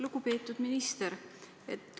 Lugupeetud minister!